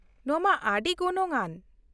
ᱱᱚᱶᱟ ᱢᱟ ᱟᱹᱰᱤ ᱜᱚᱱᱚᱝᱼᱟᱱ ᱾